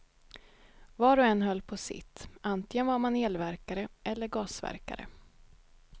Var och en höll på sitt, antingen var man elverkare eller gasverkare.